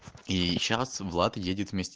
и сейчас влад едет вместе